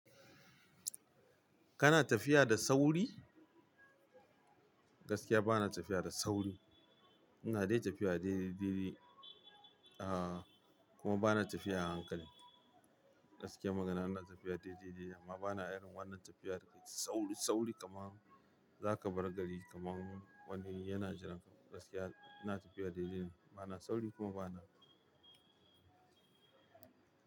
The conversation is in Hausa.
Kana tafiya da sauri? Gaskiya bana tafiya da sauri. Ina dai tafiya dai dai dai, ah kuma bana tafiya a hankali. Gaskiyar magana ina tafiya dai dai dai amma bana irin wannan tafiya da sauri sauri kaman za ka bar gari kaman wani yana jiran ka. Gaskiya ina tafiya dai dai bana sauri kuma bana.